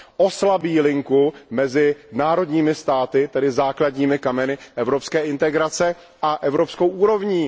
Oslabí spojení mezi členskými státy, tedy základními kameny evropské integrace, a evropskou úrovní.